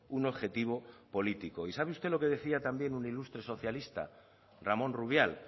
un objetivo político y sabe usted lo que decía también un ilustre socialista ramón rubial